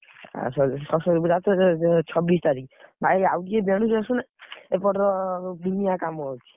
ଆଉ ସ ସରସ୍ୱତୀ ପୂଜା ଛ‍~ ଛବିଶି ତାରିଖ୍। ଭାଇ ଆଉ ଟିକେ ଆସୁନା। ଏପଟର ଦୁନିଆ କାମ ଅଛି।